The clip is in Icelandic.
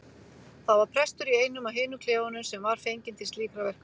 Það var prestur í einum af hinum klefunum sem var fenginn til slíkra verka.